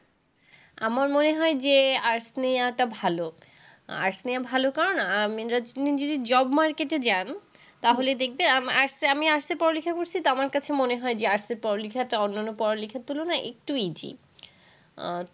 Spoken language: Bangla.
আমার মনে হয় যে arts নেওয়াটা ভালো arts নেওয়া ভালো কারণ আপনি যদি job market এ যান, তাহলে দেখবে, আমি arts এ আমি পড়া-লিখা করেছি তো আমার কাছে মনে হয় যে arts এ পড়া-লিখাটা অন্য পড়া-লিখার তুলনায় একটু easy